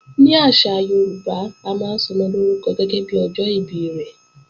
Ní àṣà Yorùbá, a máa ń sọmọ lórúkọ gẹ́gẹ́bí ọjọ́ ìbí rẹ̀